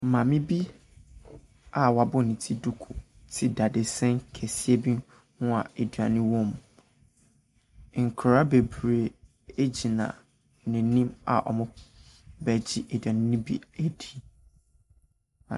Maame bi a w'abɔ ne ti duku te dadesɛn kɛseɛ bi ho a aduane wom. Nkoraa beberee egyina n'anim a ɔmo bɛgye aduane no bi edi.